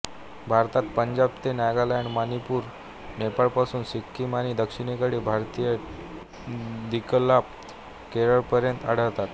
भारतात पंजाब ते नागालँड मणिपूर नेपाळपासून सिक्कीम आणि दक्षिणेकडे भारतीय द्विकल्पात केरळपर्यंत आढळतात